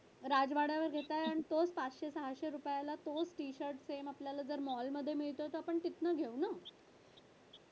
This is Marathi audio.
राजवाड्यावर जे काय आणतो तोच सातशे सहाशे रुपयाला तोच t shirt same आपल्याला मॉलमध्यें जर मिळतंय ना तर आपण तिथनं घेऊ ना